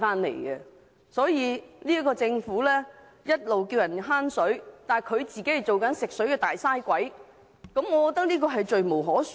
政府一邊呼籲大家節省用水，但自己卻做其食水"大嘥鬼"，這實在是罪無可恕。